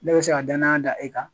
Ne bɛ se ka danaya da e kan.